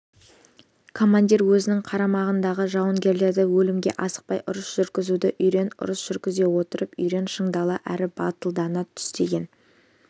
командир өзінің қарамағындағы жауынгерлерді өлімге асықпай ұрыс жүргізуді үйрен ұрыс жүргізе жүріп үйрен шыңдала әрі батылдана түс деген